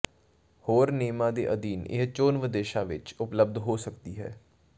ਹੋਰ ਨਿਯਮਾਂ ਦੇ ਅਧੀਨ ਇਹ ਚੋਣਵ ਦੇਸ਼ਾਂ ਵਿਚ ਉਪਲਬਧ ਹੋ ਸਕਦੀ ਹੈ